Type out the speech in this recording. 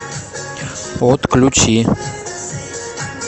отключи